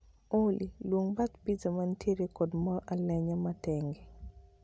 Olly, luong bath piza mantiere kod mor alenya matenge